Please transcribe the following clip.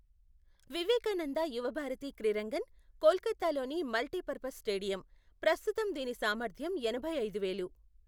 వివేకానంద యువ భారతి క్రిరంగన్, కోల్కతాలోని multipurpose stadium, ప్రస్తుతం దీని సామర్థ్యం ఎనభై ఐదు వేలు.